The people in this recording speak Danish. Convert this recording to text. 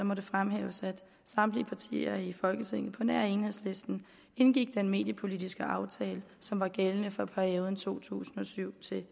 må det fremhæves at samtlige partier i folketinget på nær enhedslisten indgik den mediepolitiske aftale som var gældende fra perioden to tusind og syv til